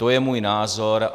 To je můj názor.